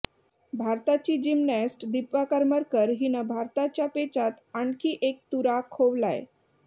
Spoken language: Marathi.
भारताची जिमनॅस्ट दीपा करमरकर हिनं भारताच्या पेचात आणखी एक तुरा खोवलाय